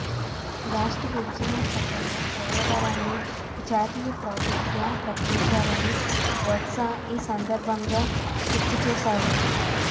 రాష్ట్ర విభజన చట్టంలో పోలవరాన్ని జాతీయ ప్రాజెక్ట్గా ప్రకటించారని బొత్స ఈ సందర్భంగా గుర్తు చేశారు